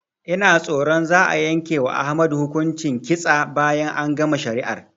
Ina tsoron za'a yanke wa Ahmadu hukuncin kitsa bayan an gama shari'ar